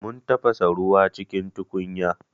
Mun tafasa ruwa a cikin tukunya.